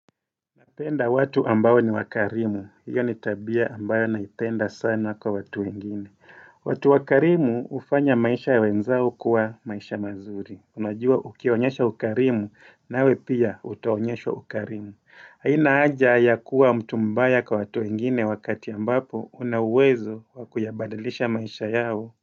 Napenda watu ambao ni wakarimu, hiyo ni tabia ambayo naipenda sana kwa watu engini. Watu wakarimu ufanya maisha ya wenzao kuwa maisha mazuri. Unajua ukionyesha ukarimu nawe pia utaonyesha ukarimu. Haina aja ya kuwa mtu mbaya kwa watu wengini wakati ambapo unawezo wakuyabadalisha maisha yao.